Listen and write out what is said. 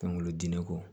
Pankurudi ne kɔ